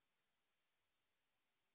সেটিকে practiceওডিটি নামে সেভ করুন